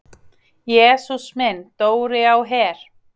"""Jesús minn, Dóri á Her!"""